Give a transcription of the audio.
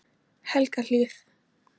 Helgahlíð